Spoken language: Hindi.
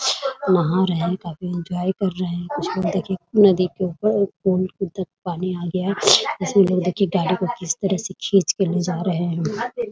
नहा रहे है कोई पूजा भी कर रहे कुछ लोग देखिए नदी के ऊपर कोण के उधर पानी आ गया है कैसे लोग देखिए गाड़ी को किस तरह से खिंचके ले जा रहे है।